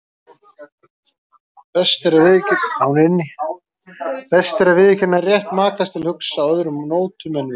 Best er að viðurkenna rétt makans til að hugsa á öðrum nótum en við.